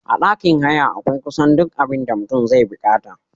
A ɗakin haya akwai kusan duk abinda mutum zai bikata